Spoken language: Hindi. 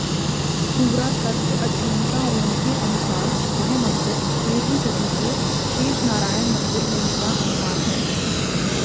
पुरातत्त्व अध्येताओंके अनुसार यह मंदिर तेरहवीं सदीके शेषनारायण मंदिर होनेका अनुमान है